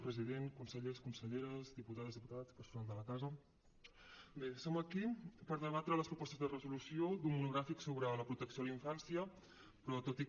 president consellers conselleres diputades diputats personal de la casa bé som aquí per debatre les propostes de resolució d’un monogràfic sobre la protecció a la infància però tot i que